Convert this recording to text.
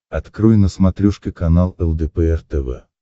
открой на смотрешке канал лдпр тв